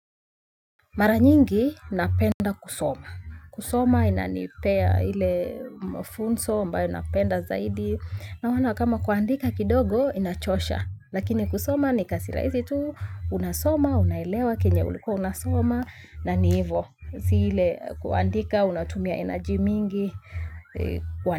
Mara nyingi napenda kusoma. Kusoma inanipea ile mafunzo ambayo napenda zaidi. Kwa maana kama kuandika kidogo inachosha. Lakini kusoma ni kazi rahisi tu unasoma, unailewa, kenye ulikuwa unasoma na ni hivo. Si ile kuandika, unatumia energy mingi, kuandika.